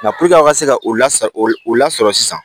a ka se ka o la o lasɔrɔ sisan